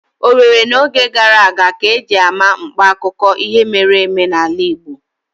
Owerri n'oge gara aga ka eji ama mkpa akụkọ ihe mere eme n'ala Igbo